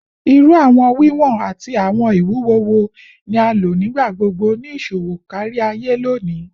Iru awọn wiwọn ati awọn iwuwo wo ni a lo nigbagbogbo ni iṣowo kariaye loni?